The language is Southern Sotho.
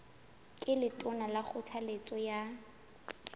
ke letona ka kgothaletso ya